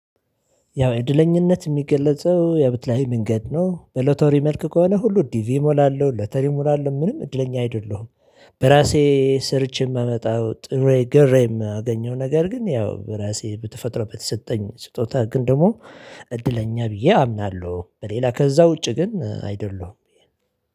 ያው እድለኛነት የሚገለጸው ያው በተለያዩ መንገድ ነው በሎተሪ መልክ ከሆነ ሁሉ ዲቪ እሞላለሁ ሎተሪ እሞላለሁ ምንም እድለኛ አይደለሁም፤። በራሴ ሰርቼ የማመጣው ጥሬ ግሬ የማገኘው ነገር ግን ያው በራሴ በተፈጥሮ በተሰጠኝ ስጦታ ግን ደግሞ እድለኛ ብዬ አምናለሁ በሌላ ከዛ ውጪ ግን አይደለሁም።